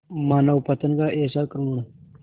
मानवपतन का ऐसा करुण